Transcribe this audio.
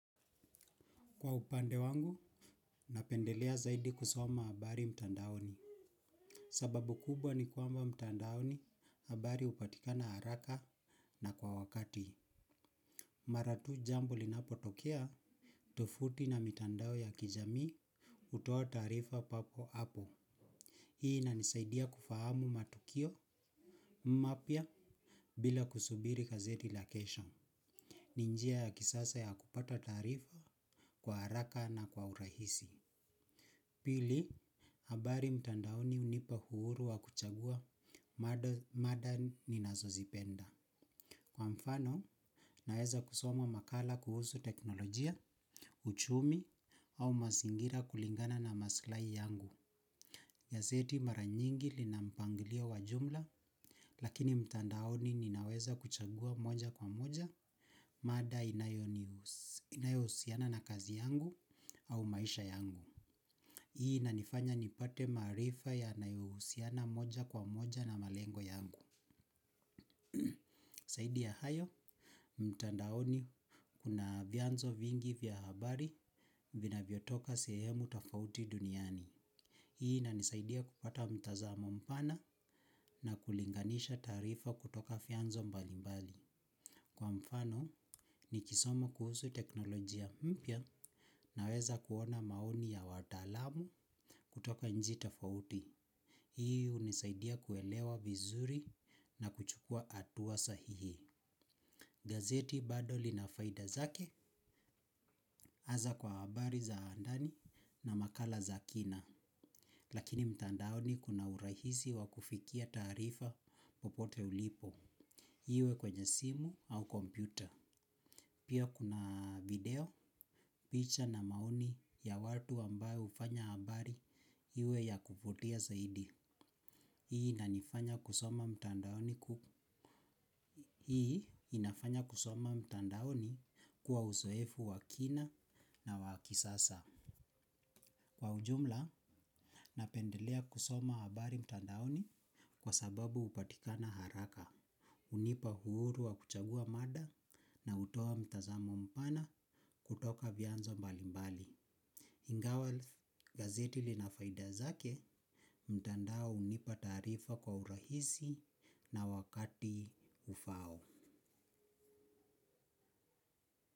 Kwa upande wangu, napendelea zaidi kusoma habari mtandaoni. Sababu kubwa ni kwamba mtandaoni habari hupatikana haraka na kwa wakati. Mara tu jambo linapotokea, tovuti na mitandao ya kijami hutoa tarifa papo hapo. Hii inanisaidia kufahamu matukio, mapya, bila kusubiri gazeti la kesho. Ni njia ya kisasa ya kupata tarifa kwa haraka na kwa urahisi. Pili, habari mtandaoni hunipa uhuru wa kuchagua, mada ninazo zipenda. Kwa mfano, naweza kusoma makala kuhusu teknolojia, uchumi au mazingira kulingana na maslai yangu. Gazeti mara nyingi lina mpangilio wa jumla, lakini mtandaoni ninaweza kuchagua moja kwa moja, mada inayohusiana na kazi yangu au maisha yangu. Hii inanifanya nipate marifa yanayohusiana moja kwa moja na malengo yangu. Zaidi ya hayo, mtandaoni kuna vianzo vingi vya habari vinavyo toka sehemu tofauti duniani. Hii inanisaidia kupata mtazamo mpana na kulinganisha tarifa kutoka vyanzo mbali mbali. Kwa mfano, nikisoma kuhusu teknolojia mpya naweza kuona maoni ya watalamu kutoka nchi tofauti. Hii hunisaidia kuelewa vizuri na kuchukua hatua sahihi. Gazeti bado lina faida zake, hasa kwa habari za ndani na makala za kina. Lakini mtandaoni kuna urahisi wa kufikia tarifa popote ulipo. Iwe kwenye simu au kompyuta. Pia kuna video, picha na maoni ya watu ambaye hufanya habari iwe ya kuvutia zaidi. Hii inafanya kusoma mtandaoni kuwa uzoefu wa kina na wa kisasa. Kwa ujumla, napendelea kusoma habari mtandaoni kwa sababu hupatikana haraka. Hunipa uhuru wa kuchagua mada na hutoa mtazamo mpana kutoka vyanzo mbali mbali. Ingawa gazeti lina faida zake mtandao hunipa taarifa kwa urahisi na wakati ufao.